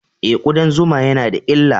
E, kudan zuma na da illa.